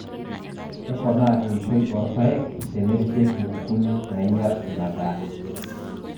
Kepona eishoi oorpaek tenerishieki nkukuni naainyial ina daa.